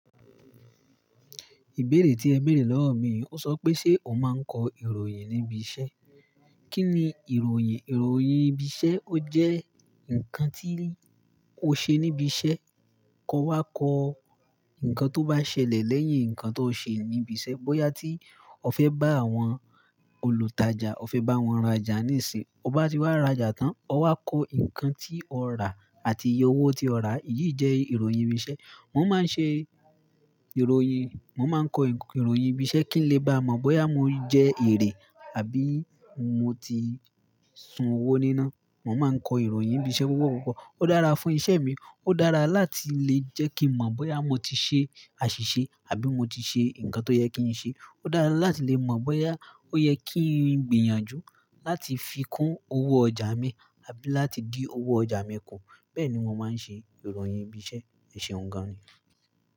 Ìbéèrè tí ẹ bèrè lọ́wọ́ mi yí, o sọ pé ṣe o máa ń kọ ìròyìn níbi iṣẹ́? Kí ni ìròyìn? Ìròyìn ibi iṣẹ́ o jẹ́ ǹkan tí o ṣe níbi iṣẹ́. Ko wá kọ ǹkan tó bá ṣẹlẹ̀ lẹ́yìn ǹkan tó o ṣe níbi iṣẹ́. Bóyá tí o fẹ́ bá àwọn olùtajà, o fẹ́ bá wọn rajà níìsín, o bá ti wá rajà tán, o wá kọ ǹkan tí o rà àti iye owó tí o ràá. Èyí jẹ́ ìròyìn ibi iṣẹ́. Mo máa ń ṣe ìròyìn, mo máa ń kọ ìròyìn ibi iṣẹ́ kí n lè bá mọ̀ bóyá mo jẹ èrè àbí mo ti sun owó níná. Mo máa ń kọ ìròyìn ibi iṣẹ́ púpọ̀ púpọ̀. Ó dára fún iṣẹ́ mi, ó dára láti lè jẹ́ kí n mọ̀ bóyá mo ti ṣe àṣìṣe àbí mo ti ṣe ǹkan tó yẹ kí n ṣe. Ó dára láti lè mọ̀ bóyá ó yẹ kí n gbìyànjú láti fi kún owó ọjà mi àbí láti dí owó ọjà mi kù. Bẹ́ẹ̀ni mo máa ń se ìròyìn ibi iṣẹ́. Ẹ seun.